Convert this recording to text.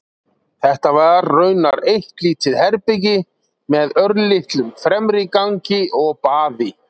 Þetta var raunar eitt lítið herbergi með örlitlum fremri gangi og baði.